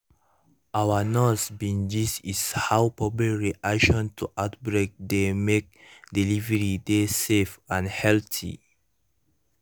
our nurse bin gist is how public reaction to outbreak dey mek delivery dey safe and healthy